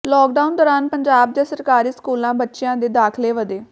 lockdown ਦੌਰਾਨ ਪੰਜਾਬ ਦੇ ਸਰਕਾਰੀ ਸਕੂਲਾਂ ਬੱਚਿਆਂ ਦੇ ਦਾਖ਼ਲੇ ਵਧੇ